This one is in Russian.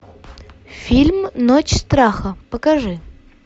фильм ночь страха покажи